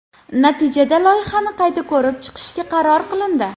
Natijada loyihani qayta ko‘rib chiqishga qaror qilindi .